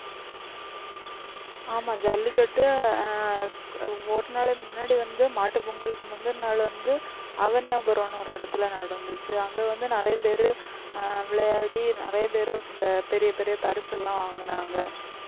ஆமா ஜல்லிக்கட்டு ஒரு நாளுக்கு முன்னாடி வந்து மாட்டுப் பொங்கலுக்கு முந்தின நாள் வந்து அவனியாபுரம்ன்னு ஒரு இடத்திலே நடந்துச்சு அங்கே வந்து நிறைய பேரு ஆஹ் விளையாடி நிறைய பேரு இந்த பெரிய பெரிய பரிசு எல்லாம் வாங்கினாங்க